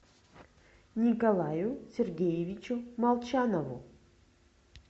николаю сергеевичу молчанову